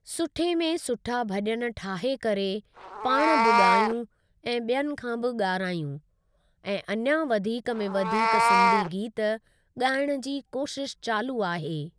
सुठे में सुठा भॼन ठाहे करे पाण बि ॻायूं ऐं ॿियनि खां बि ॻारहायूं , ऐं अञा वधीक में वधीक सिंधी गीत ॻाइण जी कोशिश चालू आहे।